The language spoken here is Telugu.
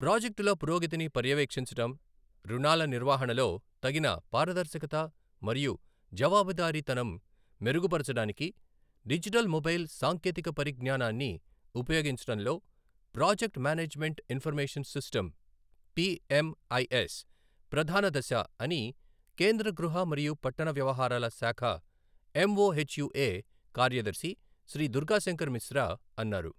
ప్రాజెక్టుల పురోగతిని పర్యవేక్షించడం, రుణాల నిర్వహణలో తగిన పారదర్శకత మరియు జవాబుదారీతనం మెరుగుపరచడానికి డిజిటల్ మొబైల్ సాంకేతిక పరిజ్ఞానాన్ని ఉపయోగించడంలో project management information system P MIS ప్రధాన దశ అని కేంద్ర గృహ మరియు పట్టణ వ్యవహారాల శాఖ ఎంఓహెచ్యుఏ కార్యదర్శి శ్రీ దుర్గాశంకర్ మిశ్రా అన్నారు.